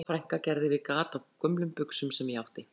Besta frænka gerði við gat á gömlum buxum sem ég átti